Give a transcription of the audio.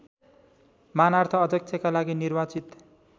मानार्थ अध्यक्षका लागि निर्वाचित